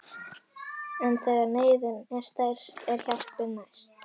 En þegar neyðin er stærst er hjálpin næst.